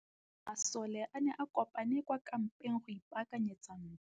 Masole a ne a kopane kwa kampeng go ipaakanyetsa ntwa.